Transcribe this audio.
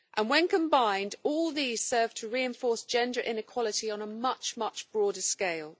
When combined, all these serve to reinforce gender inequality on a much broader scale.